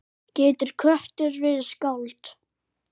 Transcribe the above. Getur köttur verið skáld?